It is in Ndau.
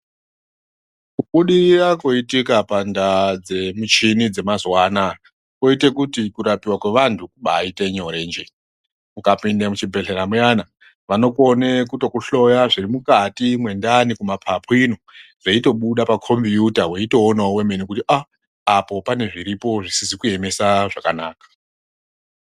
Kubudirira kwoitika pandaa dzemichini mazuwa anoaya kwoite kuti kurapiwa kweantu kubaite nyore njee, ukapinde muchibhehlera muyana vanokone kutokhloya zviri mukati mwendani kumapapu ino weitobuda pamakombuta weitoonawo wemene weiti -aah! apo pane zviripo zvisina kueme zvakanaka.